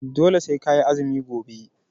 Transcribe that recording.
Dole sai ka yi azumi gobe!